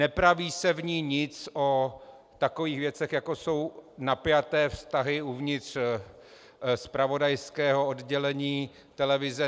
Nepraví se v ní nic o takových věcech, jako jsou napjaté vztahy uvnitř zpravodajského oddělení televize.